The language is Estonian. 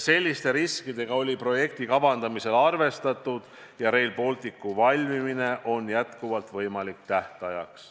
Selliste riskidega oli projekti kavandamisel arvestatud ja Rail Balticu tähtaegne valmimine on endiselt võimalik.